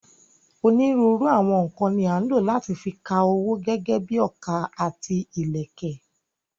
Onírúurú àwọn nǹkan ni à ń lò láti fi ka owó gẹ́gẹ́ bíi ọkà àti ìlẹ̀kẹ̀.